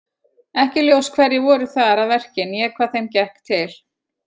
Ekki er ljóst hverjir voru þar að verki né hvað þeim gekk til.